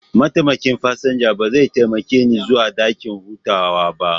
Mataimakin fasinja ba zai taimake ni zuwa dakin hutawa ba.